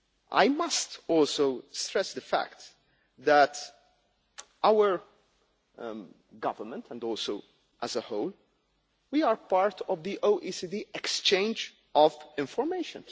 I must also stress the fact that our government and also as a whole, we are part of the OECD exchange of information.